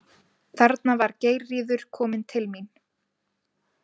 Þarna var Geirríður komin til mín.